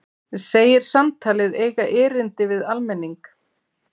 Segir samtalið eiga erindi við almenning